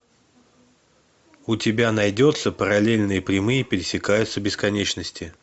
у тебя найдется параллельные прямые пересекаются в бесконечности